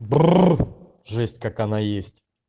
бррр жесть как она есть